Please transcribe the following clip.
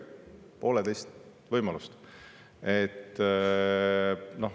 Pole teist võimalust.